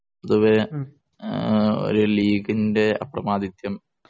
പൊതുവേ ഒരു ലീഗിന്‍റെ അപ്രമാദിത്വം